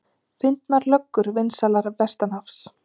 Fyndnar löggur vinsælar vestanhafs